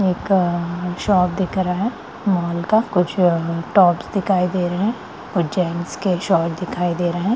एक शॉप दिख रहा है मोल का कुछ टॉप्स दिखाई दे रहे है और जेंस के शर्ट्स दिखाई दे रहे है।